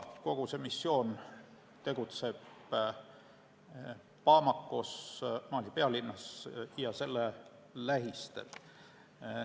Kogu see missioon tegutseb Bamakos, Mali pealinnas ja selle lähistel.